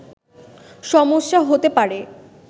সমস্যা হতে পারে